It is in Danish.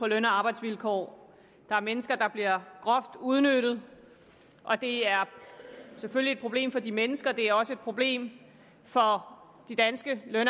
løn og arbejdsvilkårene der er mennesker der bliver groft udnyttet det er selvfølgelig et problem for de mennesker det er også et problem for de danske løn